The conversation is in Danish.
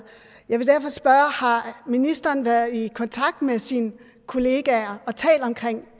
jeg vil derfor spørge om ministeren har været i kontakt med sine kollegaer og talt om